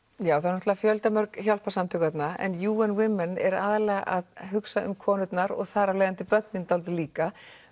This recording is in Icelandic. það eru fjöldamörg hjálparsamtök þarna en Women er aðallega að hugsa um konurnar og þar af leiðandi börnin dálítið líka